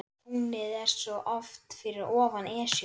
Tunglið er svo oft fyrir ofan Esjuna.